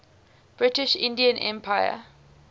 british indian empire